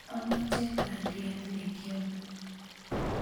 amoche bandiat nekiame